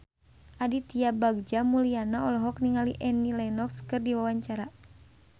Aditya Bagja Mulyana olohok ningali Annie Lenox keur diwawancara